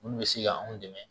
Minnu bɛ se ka anw dɛmɛ